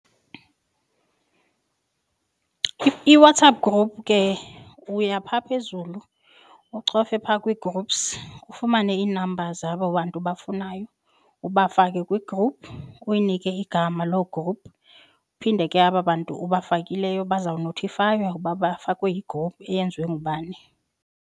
IWhatsApp group ke uya pha phezulu ucofe phaa kwi-groups ufumane ii-numbers zabo bantu ubafunayo ubafake kwi-group uyinike igama loo group, phinde ke aba bantu ubafakileyo bazawunothifaywa uba bafakwe yi-group eyenziwe ngubani.